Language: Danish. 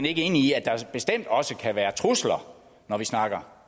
ikke enig i at der bestemt også kan være trusler når vi snakker